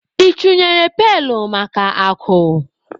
I chunyere pailu maka akụ?